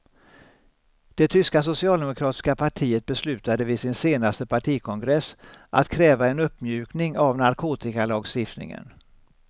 Det tyska socialdemokratiska partiet beslutade vid sin senaste partikongress att kräva en uppmjukning av narkotikalagstiftningen.